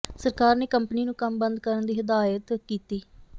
ਸਰਕਾਰ ਨੇ ਕੰਪਨੀ ਨੂੰ ਕੰਮ ਬੰਦ ਕਰਨ ਦੀ ਹਦਾਇਤ ਕੀਤੀ